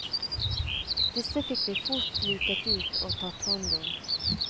Disse fikk vi fort luket ut og tatt hånd om.